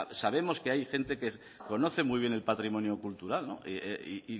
sabemos que hay gente que conoce muy bien el patrimonio cultural no y